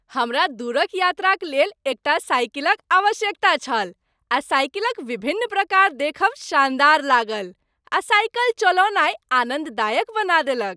हमरा दूर क यात्राक लेल एक टा साइकिल क आवश्यकता छल आ साइकिल क विभिन्न प्रकार देखब शानदार लागल आ साइकिल चलौनाइ आनंददायक बना देलक।